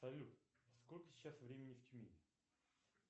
салют сколько сейчас времени в тюмени